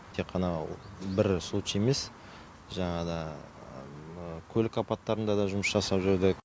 тек қана бір случай емес жаңада көлік апаттарында да жұмыс жасап жүрдік